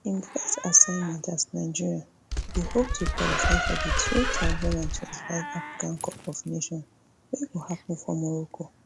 im first assignment as nigeria dey hope to qualify for di two thousand and twenty-five africa cup of nations wey go happun for morocco